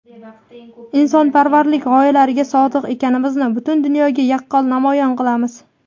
insonparvarlik g‘oyalariga sodiq ekanimizni butun dunyoga yaqqol namoyon qilamiz.